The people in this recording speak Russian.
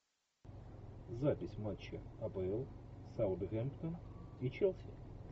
запись матча апл саутгемптон и челси